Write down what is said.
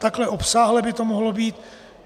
Takhle obsáhle by to mohlo být.